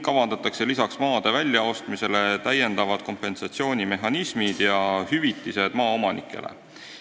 Lisaks maade väljaostmisele luuakse täiendavad kompensatsioonimehhanismid ja hüvitised maaomanikele.